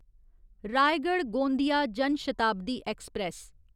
Raigarh Gondia Jan Shatabdi express